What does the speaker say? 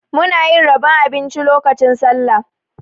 Muna yin rabon abinci lokacin Sallah.